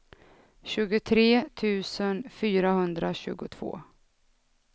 tjugotre tusen fyrahundratjugotvå